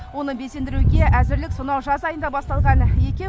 оны безендіруге әзірлік сонау жаз айында басталған екен